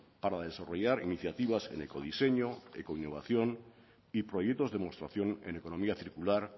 para desarrollar iniciativas en ecodiseño ecoinnovación y proyectos demostración en economía circular